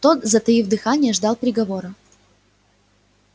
тот затаив дыхание ждал приговора